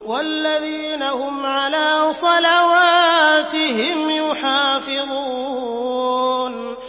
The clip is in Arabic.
وَالَّذِينَ هُمْ عَلَىٰ صَلَوَاتِهِمْ يُحَافِظُونَ